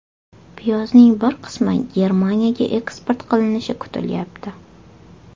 Piyozning bir qismi Germaniyaga eksport qilinishi kutilayapti.